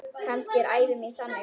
Kannski er ævi mín þannig.